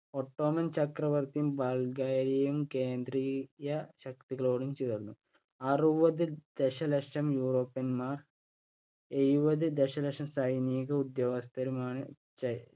Ottoman ചക്രവർത്തിയും ബൽഗേറിയയും കേന്ദ്രിയ ശക്തികളോടും ചേർന്നു. അറുപത് ദശലക്ഷം european മാർ എഴുപത് ദശലക്ഷം സൈനിക ഉദ്യോഗസ്ഥരുമാണ്